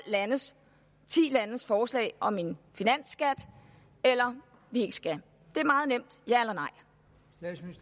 landes forslag om en finansskat eller om vi ikke skal det